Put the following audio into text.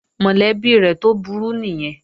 Mọ̀lẹ́bí rẹ̀ tó burú nìyẹn